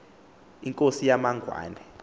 inkosi yamangw ane